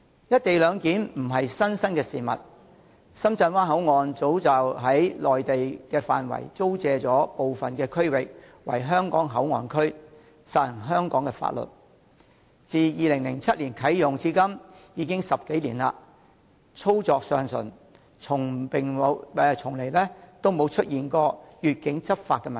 "一地兩檢"並非甚麼新鮮事，深圳灣口岸早已實行在內地範圍租借部分區域予香港以作為香港口岸區，實施香港的法律，自2007年啟用至今，已10多年，一直運作暢順，從沒發生越境執法的問題。